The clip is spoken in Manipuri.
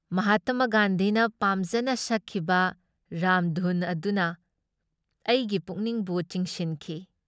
ꯃꯍꯥꯇꯃꯥ ꯒꯥꯟꯙꯤꯅ ꯄꯥꯝꯖꯅ ꯁꯛꯈꯤꯕ ꯔꯥꯝꯙꯨꯟ ꯑꯗꯨꯅ ꯑꯩꯒꯤ ꯄꯨꯛꯅꯤꯡꯕꯨ ꯆꯤꯡꯁꯤꯟꯈꯤ ꯫